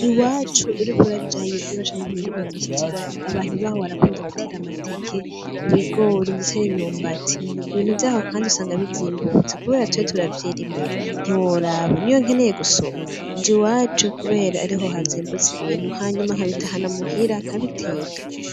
Iwacu uriko urajayo uraca ku mirima myinshi cane .Abantu baho barakunda gutera amateke, ibigori, ndetse n'imyumbati, Ibintu vyaho kandi usanga bizimbutse kubera twe turavyirimira ntiworaba, niyo nkeneye gusuma nj’iwacu kubera ariho hazimbutse ibintu hanyuma nkabitahana muhira nkabiteka.